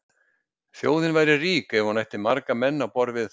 Þjóðin væri rík ef hún ætti marga menn á borð við